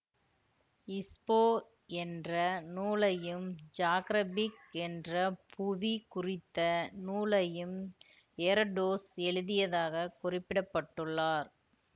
இச்போ என்ற நூலையும் ஜியாக்ரபிக் என்ற புவி குறித்த நூலையும் எரடோசு எழுதியதாகக் குறிப்பிடப்பட்டுள்ளார்